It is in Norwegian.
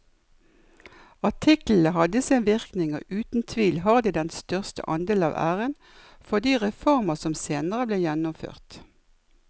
Artiklene hadde sin virkning og uten tvil har de den største andel av æren for de reformer som senere ble gjennomført.